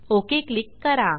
okay click करा